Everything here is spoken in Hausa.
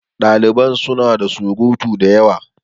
Daliban suna ta surutu da yawa.